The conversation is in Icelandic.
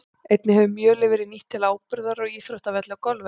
Einnig hefur mjölið verið nýtt til áburðar á íþróttavelli og golfvelli.